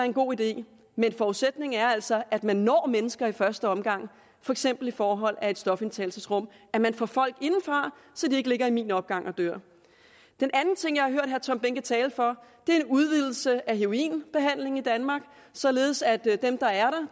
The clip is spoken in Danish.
en god idé men forudsætningen er altså at man når mennesker i første omgang for eksempel i form af et stofindtagelsesrum at man får folk inden for så de ikke ligger i min opgang og dør den anden ting jeg har hørt herre tom behnke tale for er en udvidelse af heroinbehandlingen i danmark således at dem der er